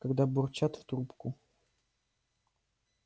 когда бурчат в трубку